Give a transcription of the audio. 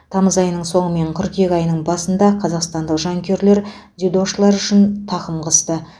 тамыз айының соңы мен қыркүйек айының басында қазақстандық жанкүйерлер дзюдошылар үшін тақым қысты